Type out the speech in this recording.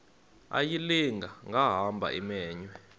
ayilinga gaahanga imenywe